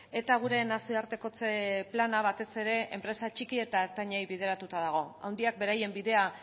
eta gure nazioartekotze plana batez ere enpresa txiki eta ertainei bideratuta dago handiak beraien bidea